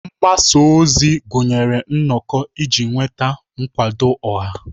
Mgbasa ozi gụnyere nnọkọ iji nweta nkwado ọha.